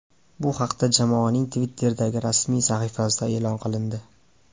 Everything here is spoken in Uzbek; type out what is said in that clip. Bu haqda jamoaning Twitter’dagi rasmiy sahifasida e’lon qilindi .